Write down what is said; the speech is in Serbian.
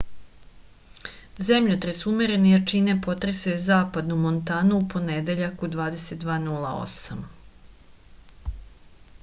zemljotres umerene jačine potresao je zapadnu montanu u ponedeljak u 22:08